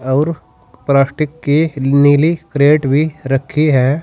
और प्लास्टिक की नीली करेट भी रखी है।